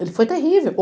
Ele foi terrível.